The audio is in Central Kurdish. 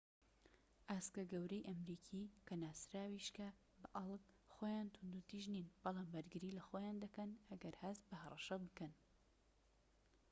ئاسکە گەورەی ئەمریکی کە ناسراویشکە بە ئەڵك خۆیان توندوتیژ نین، بەڵام بەرگری لە خۆیان دەکەن ئەگەر هەست بە هەڕەشە بکەن